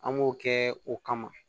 An b'o kɛ o kama